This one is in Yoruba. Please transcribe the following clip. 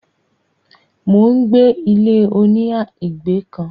mò ń gbé ilé -oníhà ìgbé kan.